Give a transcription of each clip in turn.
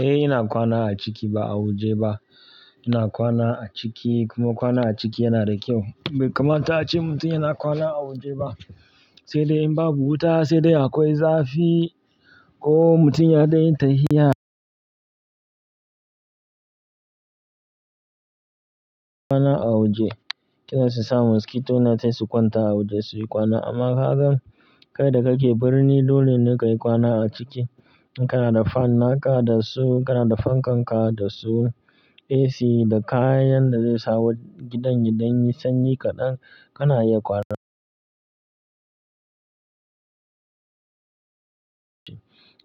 Eh ina kwana a ciki ba a waje ba. Ina kwana a ciki kuma kwana a ciki yana da kyau. Bai kamata a ce mutum yana kwana a waje ba, sai dai in babu wuta sai dai akwai zafi ko mutum ya dan yi ta hiya kwana a waje. Kila su sa mosquito net sai su kwanta a waje su yi kwana. Amma kagan kai da kake birni dole ne ka yi kwana a ciki. In kana da fan naka da su, kana da fan kanka da su, AC da kayan da zai sa wa gidan yaɗanyi sanyi kaɗan kana iya kwana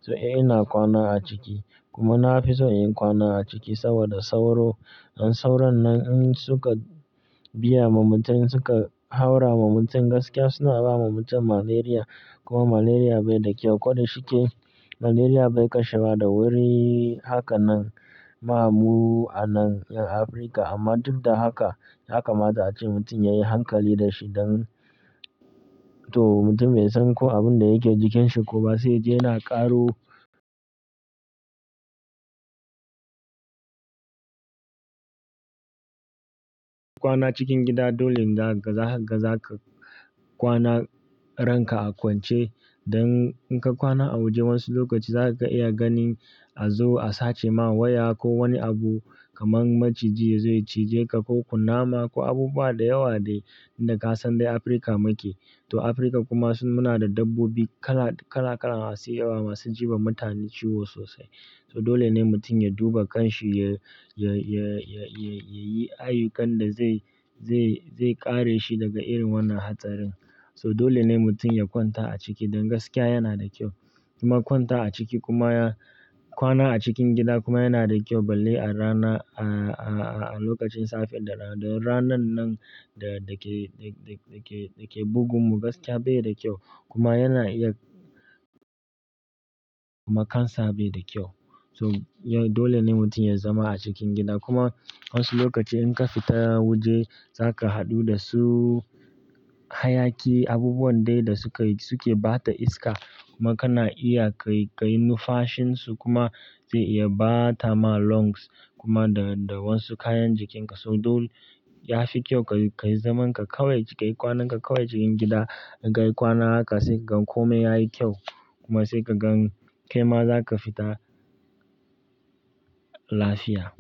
to eh ina kwana a ciki kuma na fi so inyi kwana a ciki saboda sauro dan saurannan in suka biya ma mutum in suka haura wa mutum gaskiya suna ba ma mutum malaria kuma malaria bai da kyau. Koda shi ke malaria bai kashewa da wuri haka nan ma mu a nan 'ƴan Afirka amma duk da haka, yakamata a ce mutum ya yi hankali da shi don to mutum bai san ko abin da yake jikin shi ko ba sai ya je yana ƙaro kwana cikin gida dole ne za ka kwana ranka a kwance. Dan in ka kwana a waje wasu lokaci zaka iya gani a zo a sace ma waya ko wani abu kamar maciji yazo yacije ka ko kunama ko abubuwa da yawa dai da ka san dai Afirka mike. To Afirka kuma su muna da dabbobi kala kala kalan masu yawa masu ji ba mutane ciwo sosai. So dole ne mutum ya duba kan shi ya, ya, ya, ya, ya, ya yi ayyukan da zai, zai, zai kare shi daga irin wannan hatsarin. So dole ne mutum ya kwanta a ciki dan gaskiya yana da kyau. Kuma kwanta a ciki kuma ya kwana a cikin gida kuma yana da kyau balle a rana a, a, a lokacin safe da ranan nan da ke, da, da, da ke, da ke bugun mu gaskiya bai da kyau kuma yana iya kuma cancer bai da kyau. So dole ne mutum ya zama a cikin gida kuma wasu lokaci in ka fita waje zaka haɗu da su hayaki abubuwan dai da suka yi suke bata iska kuma kana iya kai, kai nu fashin su kuma zai iya bata ma lungs kuma da, da wasu kayan jikin ka. So dole yafi kyau ka yi, ka yi zaman ka kawai ka yi kwanan ka kawai cikin gida. Kai kwana haka sai ka gan kome yayi kyau kuma sai ka gan kaima zaka fita lafiya.